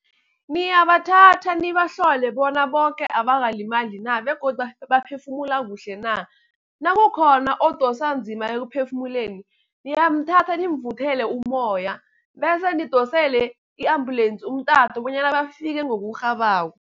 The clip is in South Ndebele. Niyabathatha nibahlole bona boke abakalimali na begodu baphefumula kuhle na. Nakukhona odosa nzima ekuphefumuleni, niyamthatha nimvuthele umoya. Bese nidosele i-ambulensi umtato bonyana bafike ngokurhabako.